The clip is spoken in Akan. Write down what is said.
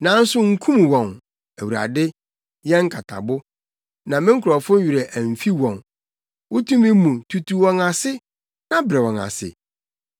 Nanso nkum wɔn, Awurade, yɛn nkatabo, na me nkurɔfo werɛ amfi wɔn. Wo tumi mu no tutu wɔn ase, na brɛ wɔn ase.